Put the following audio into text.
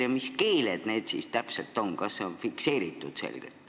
Ja mis keeled need siis täpselt on, kas see on selgelt fikseeritud?